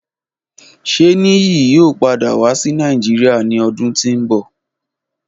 Ṣe Niyi yoo pada wa si Nàìjírìa ni ọdun ti n bọ?